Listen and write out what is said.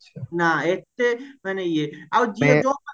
ନା ଏତେ ମାନେ ଇଏ ଆଉ ଯିଏ